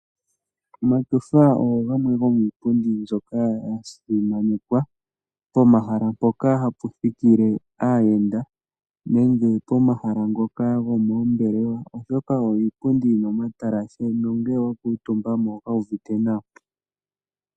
Omatyofa ogo gamwe gomiipundi mbyoka ya simanekwa pomahala mpoka hapu thikile aayenda nenge pomahala ngoka gomoombelewa oshoka oyo iipundi yina omatalashe nongele wa kuutumba mo oho kala wuuvite nawa.